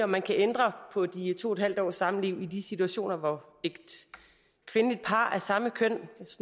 man kan ændre på de to en halv års samliv i de situationer hvor et kvindeligt par sådan